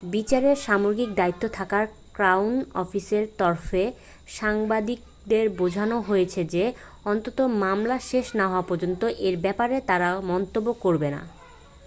বিচারের সামগ্রিক দায়িত্বে থাকা ক্রাউন অফিসের তরফে সাংবাদিকদের বোঝানো হয়েছে যে অন্তত মামলা শেষ না হওয়া পর্যন্ত এ ব্যাপারে তারা মন্তব্য করবেন না